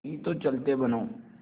नहीं तो चलते बनो